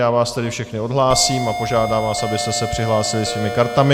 Já vás tedy všechny odhlásím a požádám vás, abyste se přihlásili svými kartami.